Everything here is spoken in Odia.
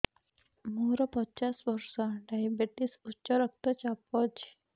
ମୋର ପଚାଶ ବର୍ଷ ଡାଏବେଟିସ ଉଚ୍ଚ ରକ୍ତ ଚାପ ଅଛି